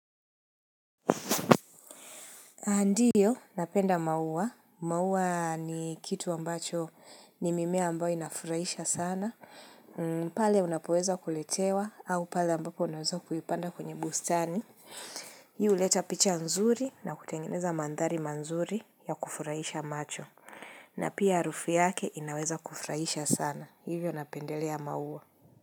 Ndio, napenda mauwa. Mauwa ni kitu ambacho ni mimea ambayo inafurahisha sana. Pale unapoweza kuletewa, au pale ambapo unaweza kuipanda kwenye bustani. Hii lueta picha nzuri na kutengeneza mandhari manzuri ya kufurahisha macho. Na pia arufu yake inaweza kufurahisha sana. Hivyo napendelea mauwa.